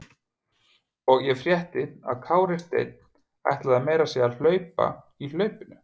Og ég frétti að Kári Steinn ætlaði meira að segja að hlaupa í hlaupinu?